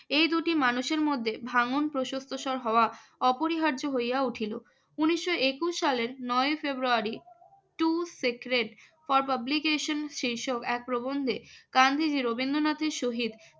এই দুটি মানুষের মধ্যে ভাঙ্গন প্রশস্তসর হওয়া অপরিহার্য হইয়া উঠিল। উনিশশো একুশ সালের নয়ই ফেব্রুয়ারি টু সিক্রেট ফর পাবলিকেশন এক প্রবন্ধে গান্ধীজি রবীন্দ্রনাথের সহিত